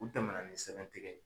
U tɛmɛnna ni sɛbɛn tigɛ